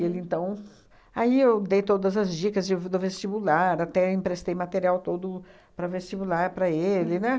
Ele, então... Aí, eu dei todas as dicas de do vestibular, até emprestei material todo para vestibular para ele, né?